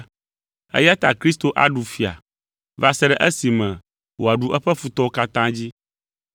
Eya ta Kristo aɖu fia va se ɖe esime wòaɖu eƒe futɔwo katã dzi,